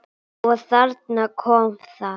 Og þarna kom það.